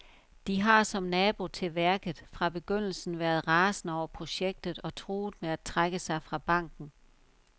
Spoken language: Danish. De har, som nabo til værket, fra begyndelsen været rasende over projektet og truer med at trække sig fra banken.